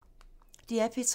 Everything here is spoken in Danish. DR P3